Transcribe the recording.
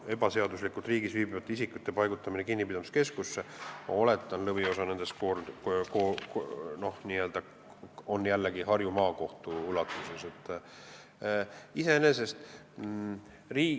Ebaseaduslikult riigis viibivate isikute paigutamine kinnipidamiskeskusse – ma oletan, et lõviosa nendest on jällegi Harju Maakohtu ülesanne.